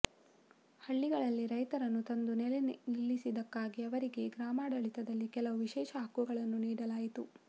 ಹಳ್ಳಿಗಳಲ್ಲಿ ರೈತರನ್ನು ತಂದು ನೆಲೆ ನಿಲ್ಲಿಸಿದ್ದಕ್ಕಾಗಿ ಅವರಿಗೆ ಗ್ರಾಮಾಡಳಿತದಲ್ಲಿ ಕೆಲವು ವಿಶೇಷ ಹಕ್ಕುಗಳನ್ನು ನೀಡಲಾಯಿತು